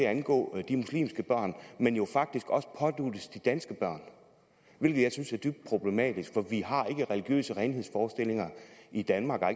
at angå de muslimske børn men jo faktisk også påduttes de danske børn hvilket jeg synes er dybt problematisk for vi har ikke religiøse renhedsforestillinger i danmark og har